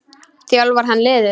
Þjálfar hann liðið?